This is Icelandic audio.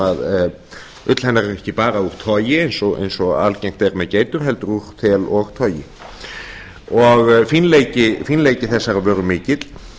sem ull hennar er ekki bara úr togi eins og algengt er með geitur heldur úr þeli og togi fínleiki þessarar vöru er mikill